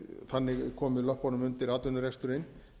þannig komið löppunum undir atvinnureksturinn